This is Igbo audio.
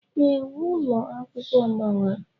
Ee, uwe ụlọ akwụkwọ gbawara.